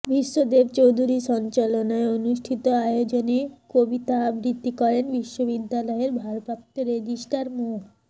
ভীষ্মদেব চৌধুরী সঞ্চালনায় অনুষ্ঠিত আয়োজনে কবিতা আবৃত্তি করেন বিশ্ববিদ্যালয়ের ভারপ্রাপ্ত রেজিস্ট্রার মো